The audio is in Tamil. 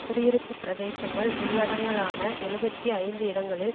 குடியிருப்பு பிரதேசங்கள் உள்ளடங்கலான எழுபத்தி ஐந்து இடங்களில்